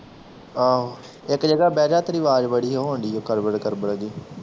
ਆਹੋ ਇੱਕ ਜਗਾਹ ਬਹਿ ਜਾ ਤੇਰੀ ਆਵਾਜ਼ ਬੜੀ ਹੋਣ ਡਈ ਕਰਬਲ ਕਰਬਲ ਜਿਹੀ